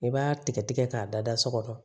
I b'a tigɛ tigɛ k'a dada so kɔnɔ